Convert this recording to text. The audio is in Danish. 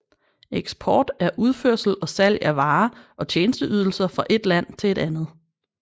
Eksport er udførsel og salg af varer og tjenesteydelser fra et land til et andet